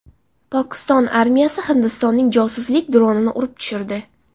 Pokiston armiyasi Hindistonning josuslik dronini urib tushirdi.